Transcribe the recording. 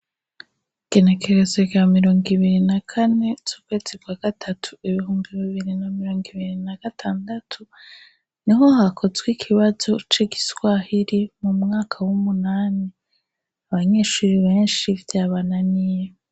Igenekerezo rya mirongo ibiri na kane, z'ukwezi bwa gatatu, ibihumbi bibiri na mirongo ibiri na gatandatu, niho hakozwe ikibazo c'igiswahiri, mu mwaka w'umunani. Abanyeshuri benshi, vyabananiye.